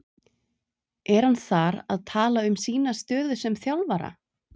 Er hann þar að tala um sína stöðu sem þjálfara?